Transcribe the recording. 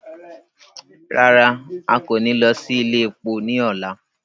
Rara, a ko ni lọ si ile epo ni ọla